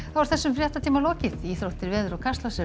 er þessum fréttatíma lokið íþróttir veður og Kastljós